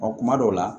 kuma dɔw la